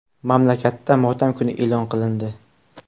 Mamlakatda motam kuni e’lon qilindi.